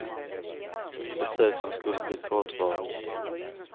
Ett besök som skulle bli kortvarigt.